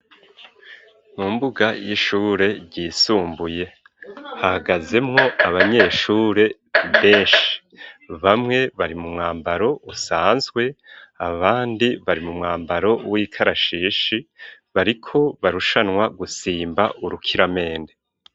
Mu mbuga y'Ishure ryisumbuye hahagazemwo abanyeshure benshi bamwe bari mu mwambaro usanzwe abandi bari mu mwambaro w'ikarashishi bariko barushanwa gusimba urukiramende.